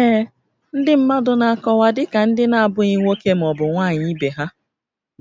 Ee, ndị mmadụ na-akọwa dị ka ndị na-abụghị nwoke ma ọ bụ nwanyị ibe ha